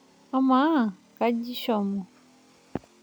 Amaa, kaji ishomo/